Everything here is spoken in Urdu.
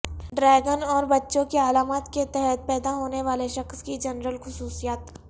ڈریگن اور بچھو کی علامات کے تحت پیدا ہونے والے شخص کے جنرل خصوصیات